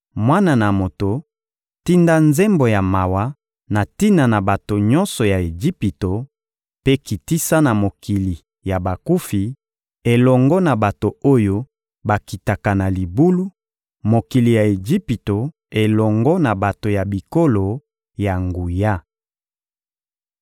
«Mwana na moto, tinda nzembo ya mawa na tina na bato nyonso ya Ejipito mpe kitisa na mokili ya bakufi elongo na bato oyo bakitaka na libulu, mokili ya Ejipito elongo na bato ya bikolo ya nguya.